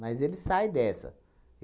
Mas ele sai dessa.